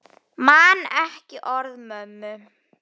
Man ekki orð mömmu.